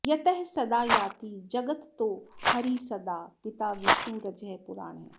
यतः सदा याति जगत्तत्तो हरिः सदा पिता विष्णुरजः पुराणः